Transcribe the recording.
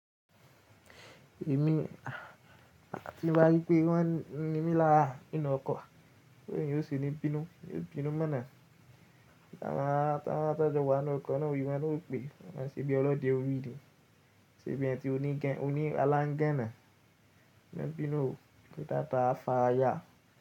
Èmi, tí n bá rípé wọ́n ni mí lára ninú ọkọ̀, bo eeyàn yóò sení bínú, yóò bínú mọ̀nà. Tí wọ́n ara tọ́jo wa nínú ọkọ̀ náà ori wọ́n na ó pé, wọ́n máa ṣe bí ọlọ́dẹ orí ni, ṣe bí ẹni tí ó ní aláńgẹ́na. Ìbínú o, pé tata á fa aya.